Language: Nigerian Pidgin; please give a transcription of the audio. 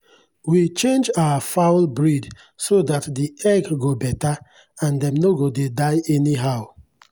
we change our fowl breed so that the egg go better and dem no go dey die anyhow.